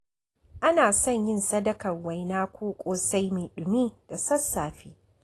Ana son yin sadakar waina ko ƙosai mai ɗumi da sassafe.